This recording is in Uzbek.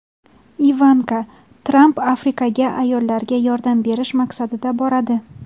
Ivanka Tramp Afrikaga ayollarga yordam berish maqsadida boradi.